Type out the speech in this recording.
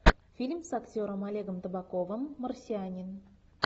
фильм с актером олегом табаковым марсианин